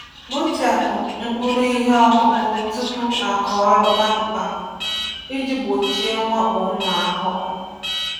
Kpochapụ mkpụrụ ihe ọkụkụ tupu akọrọ kpamkpam iji gbochie mwakpo ụmụ ahụhụ.